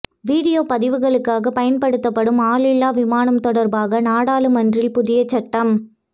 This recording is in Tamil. வீடியோ பதிவுகளுக்காக பயன்படுத்தப்படும் ஆளில்லா விமானம் தொடர்பாக நாடாளுமன்றில் புதிய சட்டம்